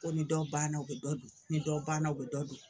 Ko ni dɔ banna u be dɔ don, ni dɔ banna u be dɔ don.